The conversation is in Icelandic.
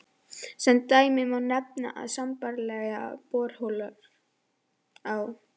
Sem dæmi má nefna að sambærilegar borholur á